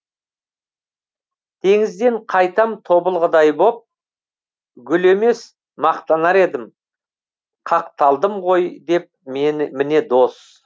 теңізден қайтам тобылғыдай боп гүл емес мақтанар едім қақталдым ғой деп міне дос